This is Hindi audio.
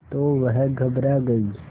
तो वह घबरा गई